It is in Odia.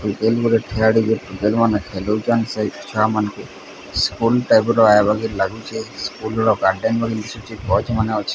ମାନେ ଖେଲୁଛନ୍ ସେଇ ସ୍କୁଲ ଟାଇପ ର ଭଳି ଲାଗୁଛି ସ୍କୁଲ ର ଗଛ ମାନେ ଅଛି।